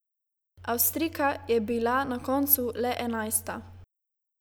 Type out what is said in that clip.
Avstrijka je bila na koncu le enajsta.